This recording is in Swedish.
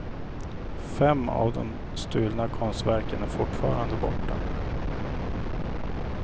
Fem av de stulna konstverken är fortfarande borta.